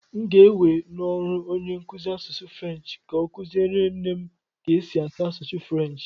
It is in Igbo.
M ga-ewe n'ọrụ onye nkuzi asụsụ Frenshi ka ọ kụziere nne m ka esi asụ asụsụ Frenshi.